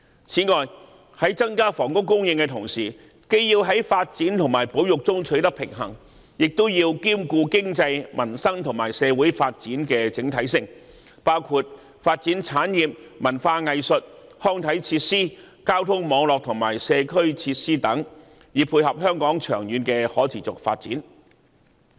此外，在增加房屋供應之際，既要在發展與保育之間取得平衡，也要兼顧經濟、民生和社會的整體發展，包括發展產業、文化藝術、康體設施、交通網絡和社區設施等，以配合香港長遠的可持續發展。